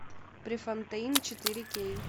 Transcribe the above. префонтейн четыре кей